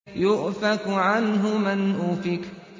يُؤْفَكُ عَنْهُ مَنْ أُفِكَ